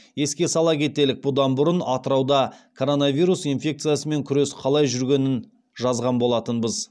еске сала кетелік бұдан бұрын атырауда коронавирус инфекциясымен күрес қалай жүргенін жазған болатынбыз